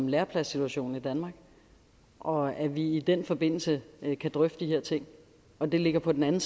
lærepladssituationen i danmark og at vi i den forbindelse kan drøfte de her ting og at det ligger på den anden